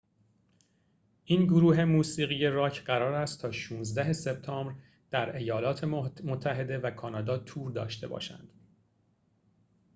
این گروه موسیقی راک قرار است تا ۱۶ سپتامبر در ایالات متحده و کانادا تور داشته باشد